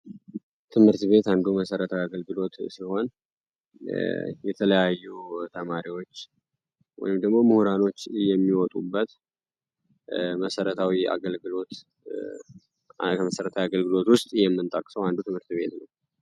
ትምህርት ቤት አንዱ መሰረታዊ አገልግሎት ሲሆን የተለያዩ ተማሪዎች ወይም ድግሞ ምሁራኖች የሚወጡበት ከመሰረታዊ አገልግሎት ውስጥ የምንጣቅሰው አንዱ ትምህርት ቤት ነው።